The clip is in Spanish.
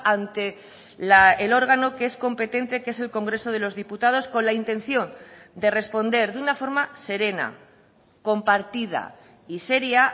ante el órgano que es competente que es el congreso de los diputados con la intención de responder de una forma serena compartida y seria